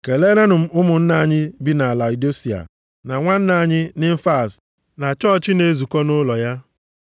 Keleerenụ m ụmụnna anyị bi na Laodisia na nwanna anyị Nimfas na chọọchị na-ezukọ nʼụlọ ya.